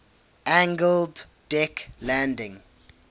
angled deck landing